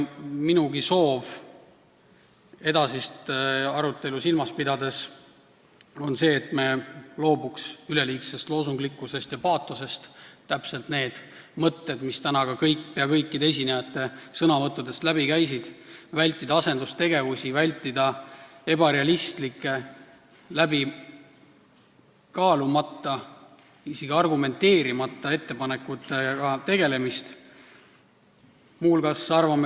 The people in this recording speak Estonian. Minugi soov edasist arutelu silmas pidades on see, et me loobuksime üleliigsest loosunglikkusest ja paatosest – täpselt need mõtted, mis täna ka pea kõikide esinejate sõnavõttudest läbi käisid –, väldiksime asendustegevusi ning ebarealistlike, läbikaalumata, isegi argumenteerimata ettepanekutega tegelemist.